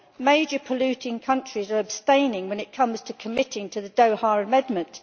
Major polluting countries are abstaining when it comes to committing to the Doha Amendment.